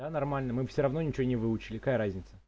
да нормально мы бы всё равно ничего не выучили какая разница